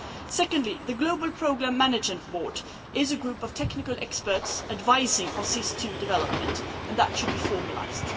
Secondly, the Global Programme Management Board is a group of technical experts advising on SIS II development and that should be formalised.